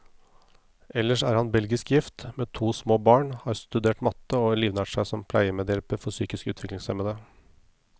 Ellers er han belgisk gift, med to små barn, har studert matte, og livnært seg som pleiemedhjelper for psykisk utviklingshemmede.